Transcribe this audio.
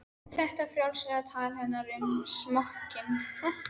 Þetta frjálslega tal hennar um smokkinn?